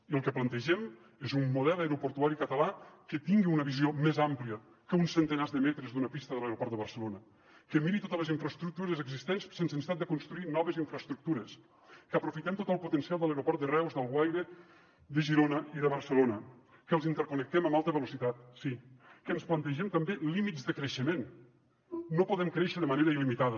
i el que plantegem és un model aeroportuari català que tingui una visió més àmplia que uns centenars de metres d’una pista de l’aeroport de barcelona que miri totes les infraestructures existents sense necessitat de construir noves infraestructures que aprofitem tot el potencial de l’aeroport de reus d’alguaire de girona i de barcelona que els interconnectem amb alta velocitat sí que ens plantegem també límits de creixement no podem créixer de manera il·limitada